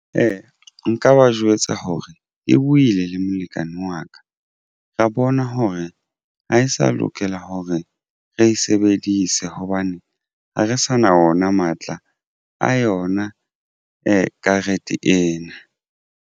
Ee, nka ba jwetsa hore e buile le molekane wa ka ra bona hore ha e sa lokela hore re e sebedise hobane ha re sa na ona matla a yona e karete ena.